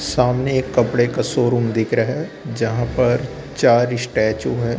सामने एक कपड़े का शोरूम दिख रहा है जहां पर चार स्टैचू हैं।